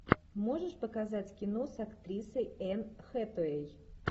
можешь показать кино с актрисой энн хэтэуэй